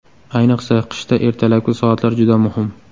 Ayniqsa qishda ertalabki soatlar juda muhim.